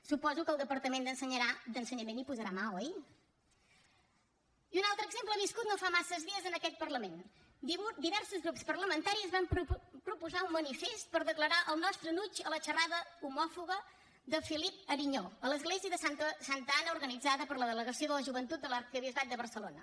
suposo que el departament d’ensenyament hi posarà mà oi i un altre exemple viscut no fa massa dies en aquest parlament diversos grups parlamentaris van proposar un manifest per declarar el nostre enuig a la xerrada homòfoba de philippe ariño a l’església de santa anna organitzada per la delegació de la joventut de l’arquebisbat de barcelona